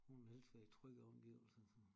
Hun vil helst være i trygge omgivelser